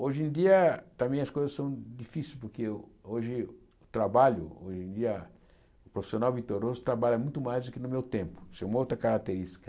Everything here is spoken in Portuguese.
Hoje em dia também as coisas são difícil, porque o hoje o trabalho, hoje em dia o profissional vitoroso trabalha muito mais do que no meu tempo, isso é uma outra característica.